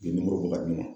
Nimoro bɔ ka d'u ma